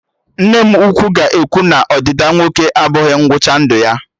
Nne m ukwu ga-ekwu na Ọdịda nwoke abụghị ngwụcha ndụ ya